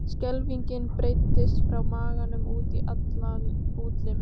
Skelfingin breiddist frá maganum út í alla útlimi.